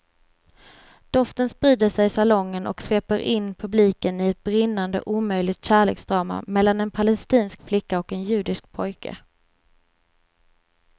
Doften sprider sig i salongen och sveper in publiken i ett brinnande omöjligt kärleksdrama mellan en palestinsk flicka och en judisk pojke.